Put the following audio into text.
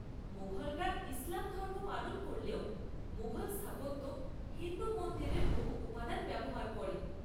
মুঘলরা ইসলাম ধর্ম পালন করলেও মুঘল স্থাপত্য হিন্দু মন্দিরের বহু উপাদান ব্যবহার করে।